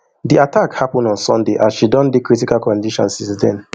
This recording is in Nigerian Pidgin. di attack happun on sunday and she don dey critical condition since den